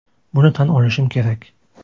Buni tan olishim kerak.